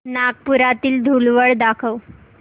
नागपुरातील धूलवड दाखव